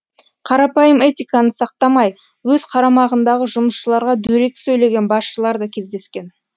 қарапайым этиканы сақтамай өз қарамағындағы жұмысшыларға дөрекі сөйлеген басшылар да кездескен